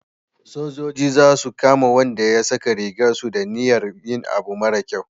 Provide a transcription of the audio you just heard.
sojoji za su kama Wanda ya saka rigar su da niyar yin abu mara kyau